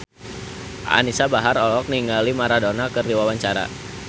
Anisa Bahar olohok ningali Maradona keur diwawancara